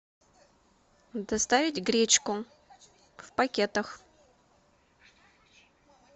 доставить гречку в пакетах